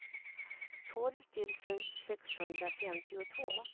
tolv tusen sexhundrafemtiotvå